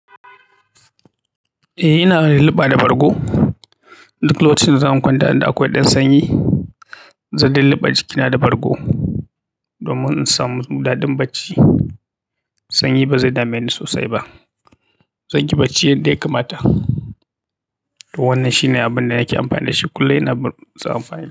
Eh, ina luluɓa da bargo. Duk lokacin da zan kwanta, inda akwai ɗan sanyi, zan luluɓe jikina da bargo. Domin in samu ɗaɗin bacci, sanyi ba zai dame ni sosai ba. Zanyi bacci yadda ya kamata to wannan shine abin da nake amfani da shi kullum. Ina so amfani da shi.